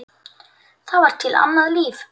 Það var til annað líf.